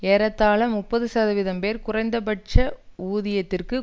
ஏறத்தாழ முப்பது சதவீம் பேர் குறைந்த பட்ச ஊதியத்திற்கும்